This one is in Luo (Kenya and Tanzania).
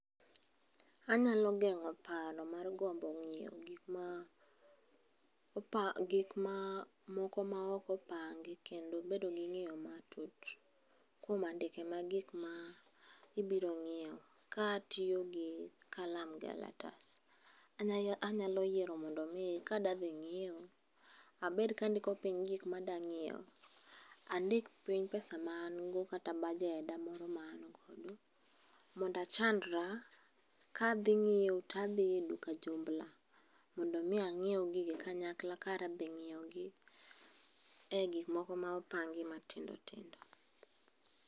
Anyalo geng'o paro mar gombo ng'iewo gik ma moko maok opangi kendo bedo gi ng'eyo matut kuom andike mag gikma ibiro ng'iewo ka atiyo gi kalam gi kalatas. Anyalo yiero mondo mi kadwa dhi ng'iewo, abed kandiko piny gikmadwa ng'iewo. Andik piny pesa maan go kata bajeda moro maan godo mondachandra kadhi ng'iewo tadhi e duka jumbla. Mondo mi ang'iew gigi kanyakla kar dhi ng'iewogi e gik moko mopangi matindo tindo.